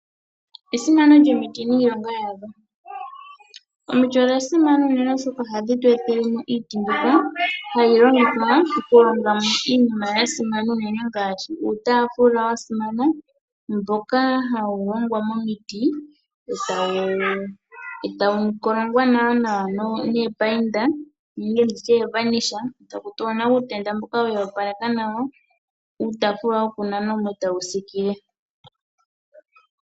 Esimano lyomiti niilonga yadho. Omiti odha simana unene oshoka ohadhi tu etele iiti mbyoka hayi longithwa okuhonga mo iinima ya simana unene ngaashi uutaafula wa simana, mboka hawu hongwa momiti e tawu kolongwa nawanawa noopainda e taku tulwa uutenda mboka we wu opaleka nawa. Uutaafula wokunana mo e tawu siikile.